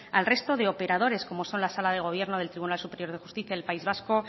al resto de operadores como son la sala de gobierno del tribunal superior de justicia del país vasco